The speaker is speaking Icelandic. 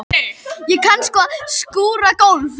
Ég kann sko að skúra gólf.